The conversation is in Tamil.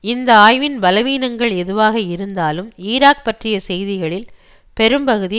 இந்த ஆய்வின் பலவீனங்கள் எதுவாக இருந்தாலும் ஈராக் பற்றிய செய்திகளில் பெரும்பகுதி